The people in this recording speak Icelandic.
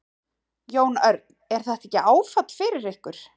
Jón Örn: Er þetta ekki áfall fyrir ykkur?